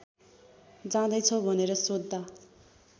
जाँदैछौ भनेर सोध्दा